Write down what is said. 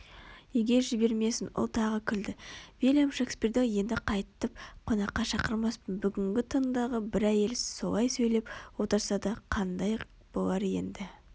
Үйге жібермесін ол тағы күлді вильям шекспирді енді қайтып қонаққа шақырмаспын бүгінгі таңдағы бір әйел солай сөйлеп отырса қаңдай болар еді